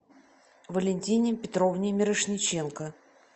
валентине петровне мирошниченко